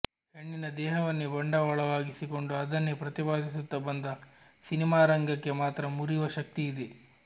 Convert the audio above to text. ಹೆಣ್ಣಿನ ದೇಹವನ್ನೇ ಬಂಡವಾಳವಾಗಿಸಿಕೊಂಡು ಅದನ್ನೇ ಪ್ರತಿಪಾದಿಸುತ್ತ ಬಂದ ಸಿನಿಮಾರಂಗಕ್ಕೆ ಮಾತ್ರ ಮುರಿವ ಶಕ್ತಿಯಿದೆ